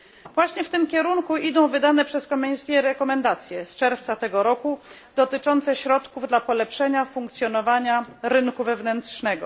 Właśnie w tym kierunku idą wydane przez Komisję rekomendacje z czerwca tego roku dotyczące środków dla polepszenia funkcjonowania rynku wewnętrznego.